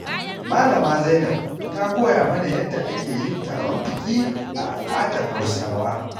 Malama Zainab ta koya mana yadda ake yin taron biki a al'adar Hausawa.